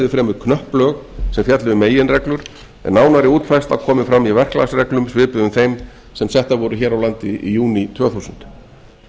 fremur knöpp lög sem fjalli um meginreglur en nánari útfærsla komi fram í verklagsreglum svipuðum þeim sem settar voru hér á landi í júní tvö þúsund